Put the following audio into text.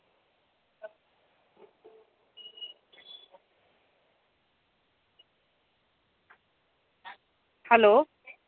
Hello